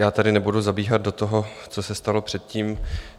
Já tady nebudu zabíhat do toho, co se stalo předtím.